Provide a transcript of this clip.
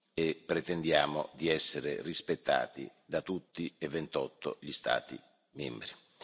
e pretendiamo di essere rispettati da tutti e 28 gli Stati membri.